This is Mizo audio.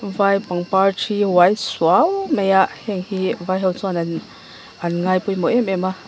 heng vai pangpar thi uai suau mai a heihi vai ho chuan an ngai pawimawh em em a.